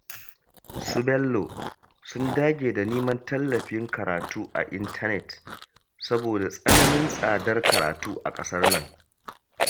Su Bello sun dage da neman tallafin karatu a intanet, saboda tsananin tsadar karatu a ƙasar nan